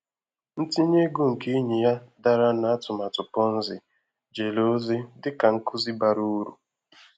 Ntinye ego nke enyi ya dara na atụmatụ Ponzi jere ozi dị ka nkuzi bara uru.